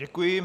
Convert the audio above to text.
Děkuji.